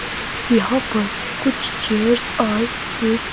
यहां पर कुछ चेयर्स और एक--